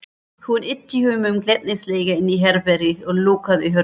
Hún ýtti honum glettnislega inn í herbergið og lokaði hurðinni.